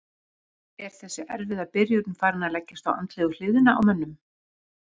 Er þessi erfiða byrjun farin að leggjast á andlegu hliðina á mönnum?